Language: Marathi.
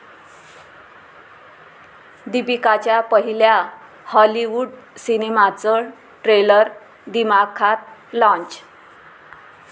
दीपिकाच्या पहिल्या हॉलिवूड सिनेमाचं ट्रेलर दिमाखात लाँच